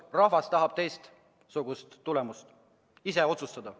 Rahvas tahab teistsugust tulemust, tahab ise otsustada.